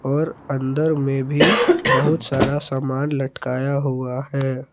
और अंदर में भी बहुत सारा सामान लटकाया हुआ है।